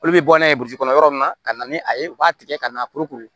Olu bɛ bɔ n'a ye kɔnɔ yɔrɔ min na ka na ni a ye u b'a tigɛ ka na puruke